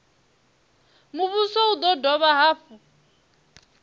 muvhuso u do dovha hafhu